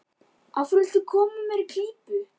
Af hverju viltu koma mér í klípu?